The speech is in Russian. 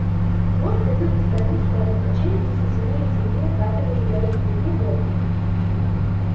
хвост ходил из стороны в сторону а челюсти всё сильнее и сильнее сдавливали белому клыку горло